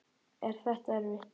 Er þetta erfitt?